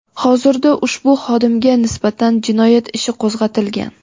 Hozirda ushbu xodimga nisbatan jinoyat ishi qo‘zg‘atilgan.